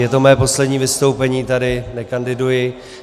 Je to mé poslední vystoupení tady, nekandiduji.